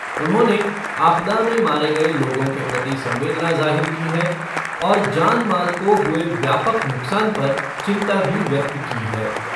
उन्होंने आपदा में मारे गए लोगों के प्रति संवेदना जाहिर की है और जान माल को हुए व्यापक नुकसान पर चिंता भी व्यक्त की है।